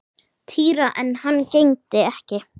Týra en hann gegndi ekki.